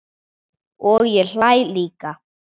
Og ég hlæ líka.